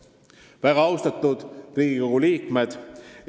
Väga austatud Riigikogu liikmed!